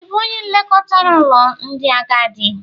Ị bụ onye nlekọta n'ụlọ ndị agadi?